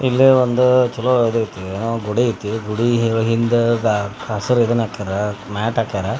ಇಲ್ಲೇ ಒಂದ್ ಚಲೋ ಆಗಿರ್ತಿ ಕುಡಿಯಕೆ ನೀರ್ ರ್ ಇಲ್ಲಿಂದ ಹೊಸಾದ್ ಏನ್ ಹಾಕ್ಯಾರ ಮ್ಯಾಟ್ ಹಾಕ್ಯಾರ .